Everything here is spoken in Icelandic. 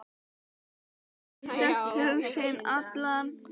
Geta ekki sagt hug sinn allan.